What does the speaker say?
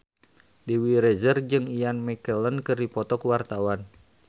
Dewi Rezer jeung Ian McKellen keur dipoto ku wartawan